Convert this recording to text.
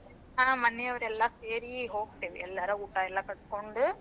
ಹಾ ಮನೆಯವರೆಲ್ಲಾ ಸೇರಿ ಹೋಗ್ತೇವಿ, ಎಲ್ಲಾರ ಊಟಾ ಕಟ್ಕೊಂಡು.